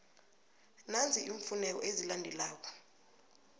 nanzi iimfuneko ezilandelako